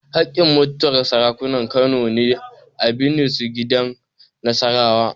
Haƙƙin mutuwar Sarakunan Kano ne a binne su gidan Nasarawa.